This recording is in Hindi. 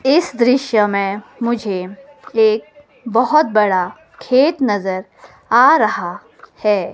इस दृश्य में में मुझे एक बहोत बड़ा खेत नजर आ रहा है।